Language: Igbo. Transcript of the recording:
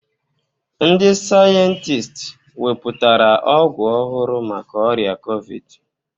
Ndị sayentist wepụtara ọgwụ ọhụrụ maka ọrịa Kovid